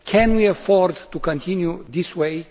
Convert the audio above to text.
Can we afford to continue in this way?